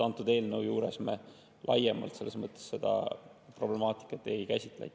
Antud eelnõu juures me laiemalt seda problemaatikat ei käsitle.